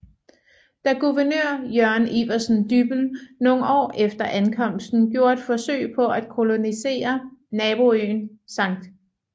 Da guvernør Jørgen Iversen Dyppel nogle år efter ankomsten gjorde et forsøg på at kolonisere naboøen Skt